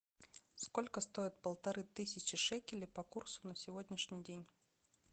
сколько стоит полторы тысячи шекелей по курсу на сегодняшний день